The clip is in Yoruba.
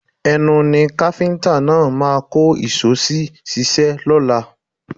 Ẹnu ni káfíńtà náà máa kó ìṣó sí ṣíṣe lọ́la